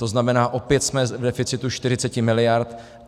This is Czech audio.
To znamená, opět jsme v deficitu 40 miliard.